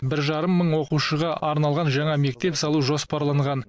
бір жарым мың оқушыға арналған жаңа мектеп салу жоспарланған